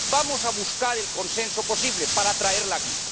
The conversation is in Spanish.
Vamos a buscar el consenso posible para traerlo aquí.